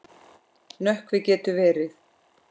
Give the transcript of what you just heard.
Nökkvi getur verið